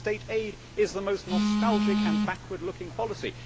State aid is the most nostalgic and backward looking policy.